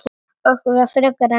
Ekki okkur frekar en öðrum.